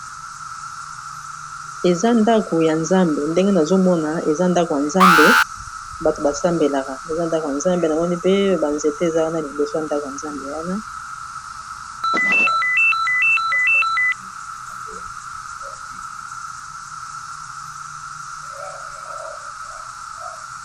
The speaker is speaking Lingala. Eza ndako ya nzambe ndenge nazomona eza ndako ya nzambe bato basambelaka eza ndako ya nzambe namoni pe banzete eza wana liboso ya ndako ya nzambe wana.